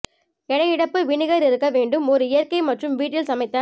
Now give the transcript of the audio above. எடை இழப்பு வினிகர் இருக்க வேண்டும் ஒரு இயற்கை மற்றும் வீட்டில் சமைத்த